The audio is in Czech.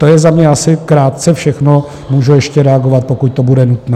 To je za mě asi krátce všechno, mohu ještě reagovat, pokud to bude nutné.